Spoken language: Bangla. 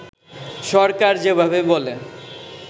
সরকার যেভাবে বলে